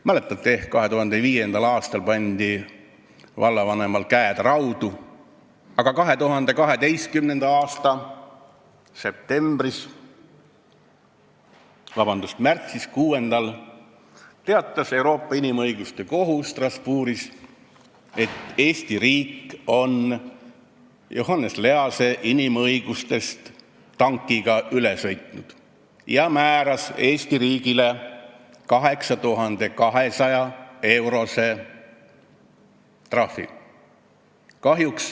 Mäletate ehk, et 2005. aastal pandi vallavanemal käed raudu, aga 2012. aasta 6. märtsil teatas Euroopa Inimõiguste Kohus Strasbourgis, et Eesti riik on Johannes Lease inimõigustest tankiga üle sõitnud, ja määras Eesti riigile 8200-eurose trahvi.